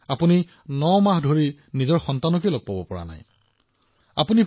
আপুনি আপোনাৰ সন্তানক ৯৯ মাহৰ সাক্ষাৎ নাপায়